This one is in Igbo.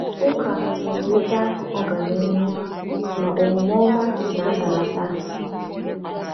“Ụka na-enweta ọganihu, ma omume ọma na-adalata.”